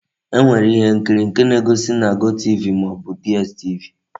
E nwere ihe nkiri nke a na-egosi na GOTV ma o bu DStv.